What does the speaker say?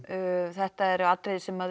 þetta eru atriði sem